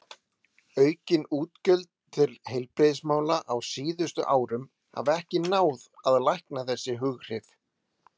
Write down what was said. Aukin útgjöld til heilbrigðismála á síðustu árum hafa ekki náð að lækna þessi hughrif.